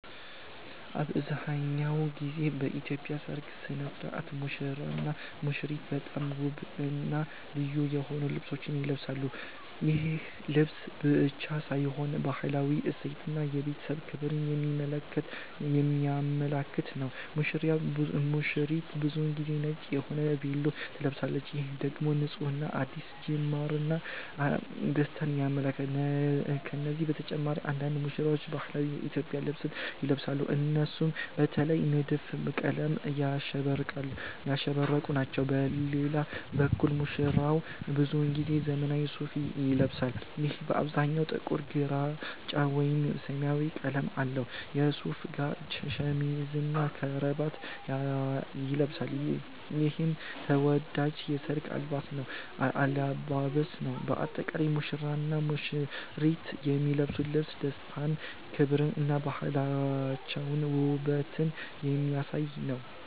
አብዛሀኛውን ጊዜ በኢትዮጵያ ሠርግ ሥነ ሥርዓት ሙሽራውና ሙሽሪት በጣም ውብና ልዩ የሆኑ ልብሶችን ይለብሳሉ። ይህ ልብስ ብቻ ሳይሆን ባህላዊ እሴቶችን እና የቤተሰብ ክብርን የሚያመለክት ነው። ሙሽሪት ብዙ ጊዜ ነጭ የሆነ ቬሎ ትለብሳለች፣ ይህም ደግሞ ንፁህነትን፣ አዲስ ጅማርን እና ደስታን ይወክላል። ከነዚህ በተጨማሪ አንዳንድ ሙሽራዎች ባህላዊ የኢትዮጵያ ልብስ ይለብሳሉ፣ እነሱም በተለየ ንድፍና ቀለማት ያሸበረቁ ናቸው። በሌላ በኩል ሙሽራው ብዙ ጊዜ ዘመናዊ ሱፋ ይለብሳል፣ ይህም በአብዛኛው ጥቁር፣ ግራጫ ወይም ሰማያዊ ቀለም አለው። ከሱፉ ጋር ሸሚዝና ከረባት ይለብሳል፣ ይህም ተወዳጅ የሠርግ አለባበስ ነው። በአጠቃላይ ሙሽራውና ሙሽሪት የሚለብሱት ልብስ ደስታን፣ ክብርን እና ባህላቸውንና ውበትን የሚያሳይ ነው።